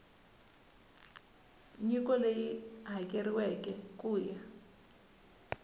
nyiko leyi hakeriweke ku ya